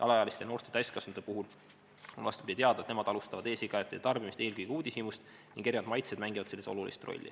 Alaealiste ja noorte täiskasvanute puhul on teada, et nemad alustavad e-sigarettide tarbimist eelkõige uudishimust ning erinevad maitsed mängivad selles olulist rolli.